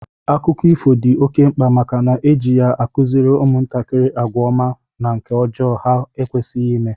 Akụkọ ifo dị oké mkpa màkà na eji ya akuziri umuntakiri àgwà ọma na nke ọjọọ ha ekwesighi ime